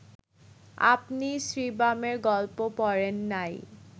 আপনি শিব্রামের গল্প পড়েন নাই